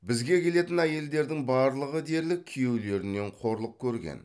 бізге келетін әйелдердің барлығы дерлік күйеулерінен қорлық көрген